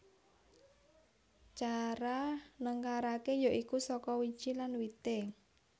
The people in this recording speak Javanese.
Cara nengkaraké ya iku saka wiji lan wité